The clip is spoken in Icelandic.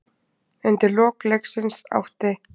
Undir lok leiksins átti